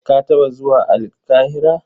Ka taɓa zuwa Alƙahira?